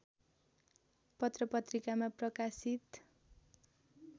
पत्रपत्रिकामा प्रकाशित